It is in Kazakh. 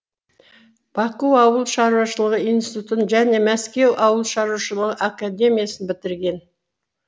баку ауыл шаруашылығы институтын және мәскеу ауыл шаруашылығы академиясын бітірген